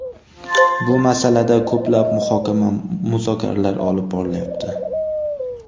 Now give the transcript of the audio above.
Bu masalada ko‘plab muhokama-muzokaralar olib borilyapti.